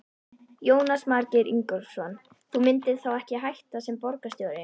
Jónas Margeir Ingólfsson: Þú myndir þá ekki hætta sem borgarstjóri?